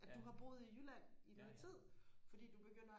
at du har boet i jylland i noget tid fordi du begynder